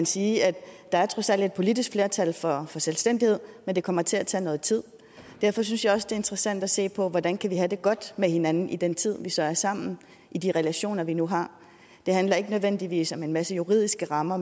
sige at der trods alt er et politisk flertal for selvstændighed men det kommer til at tage noget tid derfor synes jeg også det er interessant at se på hvordan vi kan have det godt med hinanden i den tid vi så er sammen i de relationer vi nu har det handler ikke nødvendigvis om en masse juridiske rammer